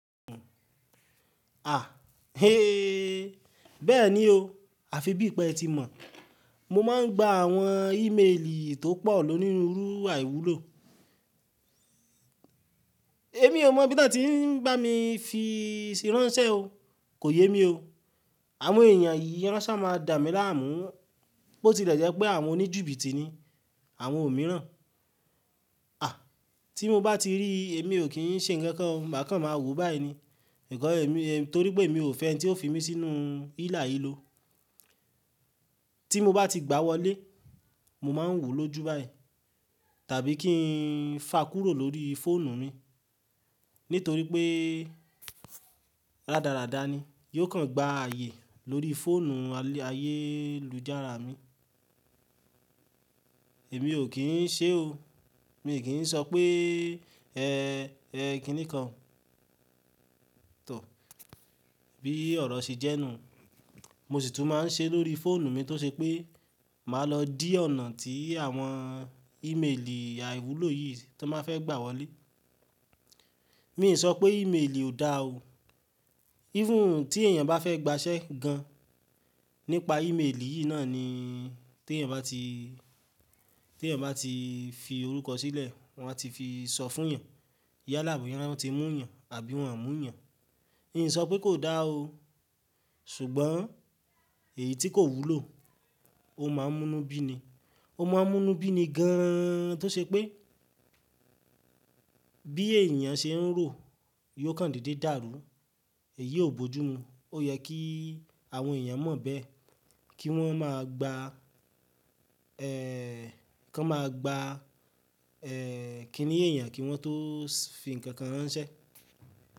À, hééé, bẹ́ẹ̀ ni o. Àfi bíi pé ẹ ti mọ̀, mo máa ń gba àwọn ímeèlì tó pọ̀ lónìí rí rú àìwúlò. Èmi ò mọ̀ bí wọ́n ti ń bá mi fi ṣìránṣẹ́ o. Kò yé mi o. Àwọn èèyàn yìí wan ṣa máa dà mí láàmú pé ó ti lẹ jẹ̀ pé àwọn oníjibíti ni, àwọn òmíràn. À, tí mo bá ti rí, èmi ò kí ń ṣe nǹkan kan, bàkan máa wò ó báyìí ni. Ìkọ́ ẹ mi, torí pé èmi ò fẹ́ ẹni tí ó fi mí sínú hílàhílo. Tí mo bá ti gbá wọlé, mo máa ń wò ó lójú báyìí, tàbí kí n fa kúrò lórí fóònù mi. Nítorí pé rádaràda ni, yóò kàn gba ààyè lórí fóònù ayélujára mi. Èmi ò kí ń ṣe o. Mi i kí ń sọ pé, ẹ, ẹ kini kan. Tọ, bí ọ̀rọ̀ ṣe jẹ́ nù. Mo sì tún máa ń ṣe lórí fóònù mi tó ṣe pé, màá lọ dí ọ̀nà tí àwọn ímeèlì àìwúlò yìí tó máa fẹ́ gbà wọlé. Mi ò sọ pé ímeèlì ò dáa o. Even tí èèyàn bá fẹ́ gbàṣẹ́ gan nípa ímeèlì yìí náà ni, tí èèyàn bá ti, tí èèyàn bá ti fi orúkọ sílẹ̀, wọ́n á ti fi sọ fún èèyàn. Yálà bo ya wan tí ń mú èèyàn àbí wọ́n ò mú èèyàn. Mi ò sọ pé kò dáa o. Ṣùgbọ́n èyí tí kò wúlò, ó máa ń múnu bíi ni. Ó máa ń múnu bíi ni gan tó ṣe pé, bí èèyàn ṣe ń rò, yóò kàn dede dàrú. Èyí ò bojú mu. Ó yẹ kí àwọn èèyàn mọ̀ bẹ́ẹ̀. Kí wọ́n máa gba, ẹ, kí wọ́n máa gba, ẹ, kíni èèyàn kí wọ́n tó fi ǹkan ránṣẹ́.